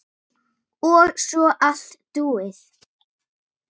Og svo allt búið.